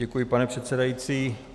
Děkuji, pane předsedající.